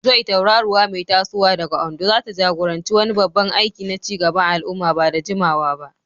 Joy, tauraruwa mai tasowa daga Ondo, zata jagoranci wani babban aiki na ci gaban al'umma ba da jimawa ba.